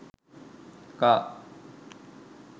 car